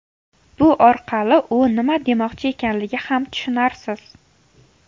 Bu orqali u nima demoqchi ekanligi ham tushunarsiz.